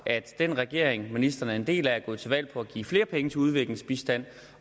den regering ministeren er en del af er gået til valg på at give flere penge til udviklingsbistand